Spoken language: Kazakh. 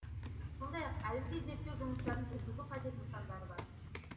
сондай ақ әлі де зерттеу жұмыстарын жүргізу қажет нысандар бар